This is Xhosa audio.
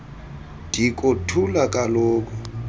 diko thula kaloku